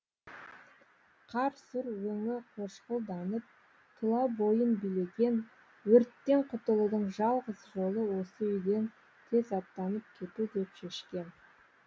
қар сұр өңі қошқылданып тұла бойын билеген өрттен құтылудың жалғыз жолы осы үйден тез аттанып кету деп шешкен